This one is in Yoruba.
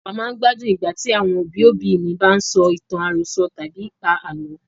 A máa ń gbádùn Ìgbà tí àwọn òbí òbí mi bá ń sọ ìtàn àròsọ tàbí pa àlọ́.